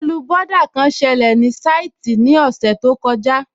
Ìkọlù bọ́dà kan sẹlẹ̀ ní sáìtì ní ọ̀sẹ̀ tó kọjá